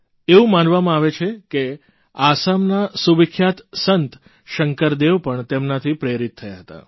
એવું માનવામાં આવે છે કે આસામના સુવિખ્યાત સંત શંકરદેવ પણ તેમનાથી પ્રેરિત થયા હતા